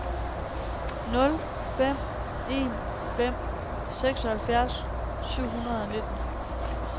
nul fem en fem seksoghalvfjerds syv hundrede og nitten